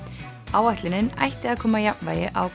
áætlunin ætti að koma jafnvægi á